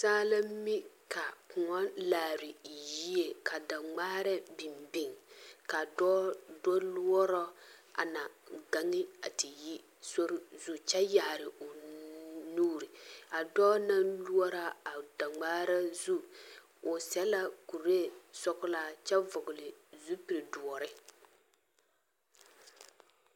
Saa la mi ka kõɔ laare yie ka da ŋmaara biŋ biŋ ka dɔɔ do lɔɔrɔ a na gaŋe te yi zori zu kyɛ yaare o nuuri a dɔɔ naŋ lɔɔrɔ a daŋmaara zu o sɛ la kuree sɔglaa kyɛ vɔgle zupili doɔre.